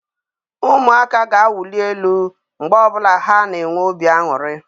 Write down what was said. Ụmụaka ga-awuli elu mgbe ọ bụla ha na-enwe obi aṅụrị.